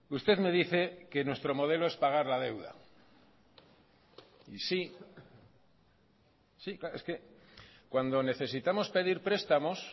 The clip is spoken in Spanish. usted me dice que nuestro modelo es pagar la deuda y sí es que cuando necesitamos pedir prestamos